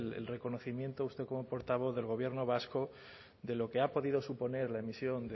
el reconocimiento de usted como portavoz del gobierno vasco de lo que ha podido suponer la emisión